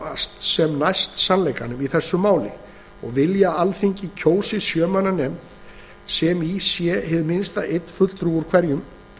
komast sem næst sannleikanum í þessu máli og vilja að alþingi kjósi sjö manna nefnd sem í sé hið minnsta einn fulltrúi frá hverjum